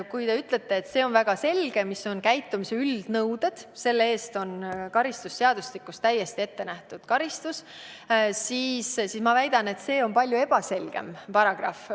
Kui te ütlete, et on väga selge, mis on käitumise üldnõuded – nende rikkumise eest on karistusseadustikus ette nähtud karistus –, siis mina väidan vastu, et see on palju ebaselgem paragrahv.